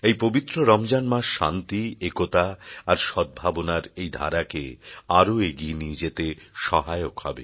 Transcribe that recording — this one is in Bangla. এই পবিত্র রমজান মাস শান্তি একতা আর সদ্ ভাবনার এই ধারাকে আরও এগিয়ে নিয়ে যেতে সহায়ক হবে